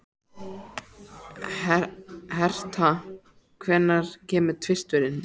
Hertha, hvenær kemur tvisturinn?